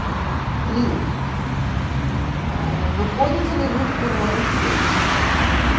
три ээ выходите ли вы в прямой эфир